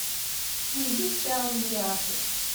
найди сериал миллиарды